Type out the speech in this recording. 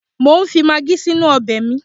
Mo ń fi magí si inú ọbẹ̀ mi